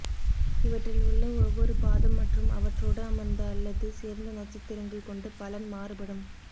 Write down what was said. இவற்றில் உள்ள ஒவ்வொரு பாதம் மற்றும் அவற்றோடு அமர்ந்த அல்லது சேர்ந்த நட்சத்திரங்கள் கொண்டு பலன் மாறுபடும்